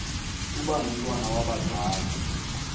uba ngumntwana wabazali